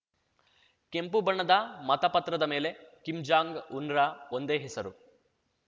ಕೆಂಪು ಬಣ್ಣದ ಮತ ಪತ್ರದ ಮೇಲೆ ಕಿಮ್ ಜಾಂಗ್ ಉನ್‌ರ ಒಂದೇ ಹೆಸರು